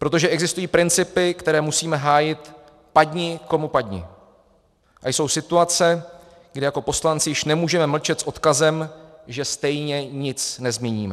Protože existují principy, které musíme hájit padni komu padni, a jsou situace, kdy jako poslanci již nemůžeme mlčet s odkazem, že stejně nic nezměníme.